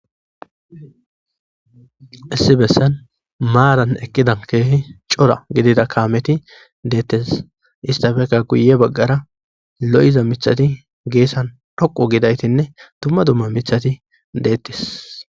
Issi bessan maaran eqqidan keehi cora gidida kaameti deettes istafekka guye baggara lo'iza mithati geessan dhoqu gidaytinne dumma dumma mithati deettis.